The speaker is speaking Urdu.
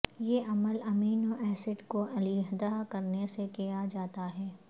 یہ عمل امینو ایسڈ کو علیحدہ کرنے سے کیا جاتا ہے